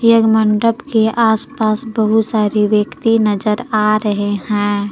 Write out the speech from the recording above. एक मंडप के आसपास बहुत सारे व्यक्ति नजर आ रहे हैं।